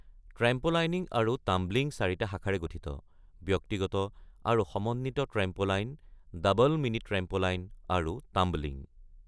Trampolining আৰু tumbling চাৰিটা শাখাৰে গঠিত, ব্যক্তিগত আৰু সমন্বিত ট্ৰেম্প'লাইন, ডাবল মিনি-ট্ৰেম্প'লাইন, আৰু টাম্বলিং।